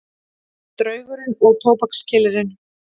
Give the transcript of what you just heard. Draugurinn og tóbakskyllirinn